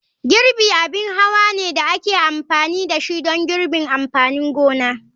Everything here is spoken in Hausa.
Girbi abin hawa ne da ake amfani da shi don girbin amfanin gona.